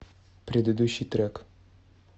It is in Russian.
предыдущий трек